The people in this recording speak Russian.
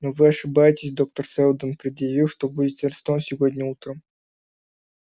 но вы ошибаетесь доктор сэлдон предъявил что будете арестованы сегодня утром